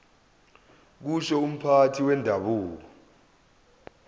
kusho umphathi wendabuko